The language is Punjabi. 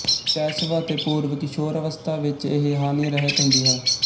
ਸ਼ੈਸ਼ਵ ਅਤੇ ਪੂਰਵ ਕਿਸ਼ੋਰਾਵਸਥਾ ਵਿੱਚ ਇਹ ਹਾਨਿਰਹਿਤ ਹੁੰਦੀ ਹੈ